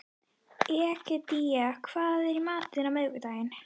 Egedía, hvað er í matinn á miðvikudaginn?